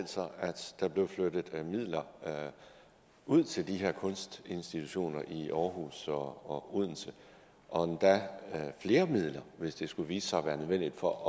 sig at der blev flyttet midler ud til de her kunstinstitutioner i aarhus og odense og endda flere midler hvis det skulle vise sig at være nødvendigt for at